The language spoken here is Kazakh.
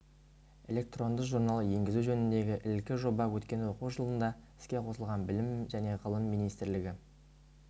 электронды журнал енгізу жөніндегі ілкі жоба өткен оқу жылында іске қосылған білім және ғылым министрлігі